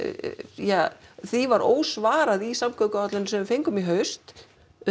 ja því var ósvarað í samgönguáætluninni sem við fengum í haust